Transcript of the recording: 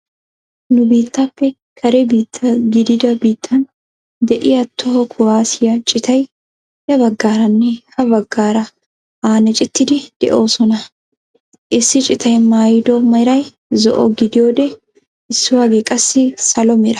Nu bitteeppe kare biitta giddida biittan de'iyaa toho kuwaasiyaa ciitay ya baggaaranne ha baggaara annacettiidi de'oosona. Issi citay maayido meray zo"o gidiyoode issuwaagee qassi salo mera.